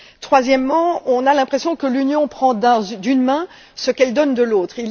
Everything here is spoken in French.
Troisièmement, on a l'impression que l'Union reprend d'une main ce qu'elle donne de l'autre.